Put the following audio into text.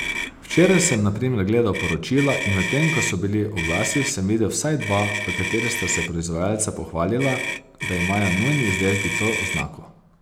Včeraj sem na primer gledal poročila, in medtem ko so bili oglasi, sem videl vsaj dva, v katerih sta se proizvajalca pohvalila, da imajo njuni izdelki to oznako.